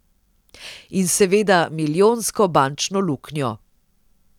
In seveda milijonsko bančno luknjo.